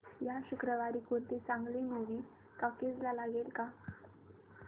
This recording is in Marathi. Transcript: या शुक्रवारी कोणती चांगली मूवी टॉकीझ ला लागेल का